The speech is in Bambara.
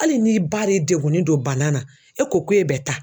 Hali n'i ba de degunnen don bana na e ko k'e bɛ taa